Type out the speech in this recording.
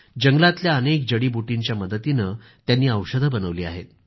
जंगलातल्या अनेक जडीबुटींच्या मदतीनं त्यांनी औषधं बनवली आहेत